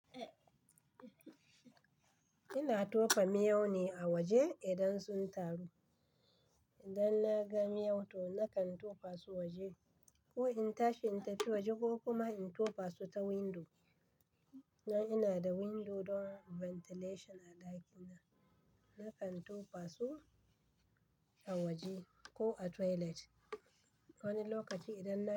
Ina tofa miyau ne a waje idan sun taru. Idan na ga miyau to nakan tofa su waje ko in tashi in tafi waje ko kuma in tofa su ta windo. Don ina da windo don ventilation a ɗakina, nakan tofa su a waje ko a toilet. Wani lokaci idan na.